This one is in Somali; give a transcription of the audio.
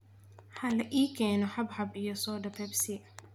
ha la ii keenno xabxab iyo soda Pepsi